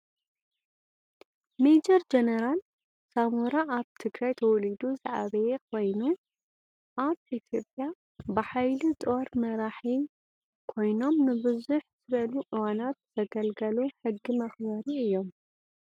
ሜጀር ጀነራት ሳሞራ ኣብ ትግራይ ተወሊዱ ዝዓበየ ኮይኑ ኣብ ኢትዮጰያ ብሓይሊ ጦር መራሒ ኮይናም ንብዝሕ ዝበሉ እዋናት ዘገልገሉ ሕጊ መክበሪ እዮም።